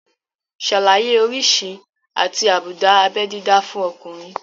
Ṣàlàyé oríṣi àti àbùdá abé dídá fún ọkùnrin